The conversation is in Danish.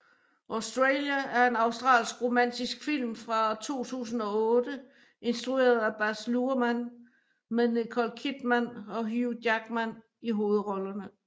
Australia er en australsk romantisk film fra 2008 instrueret af Baz Luhrmann med Nicole Kidman og Hugh Jackman i hovedrollerne